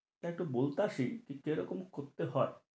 তা একটু বলতাছি কি রকম করতে হয়?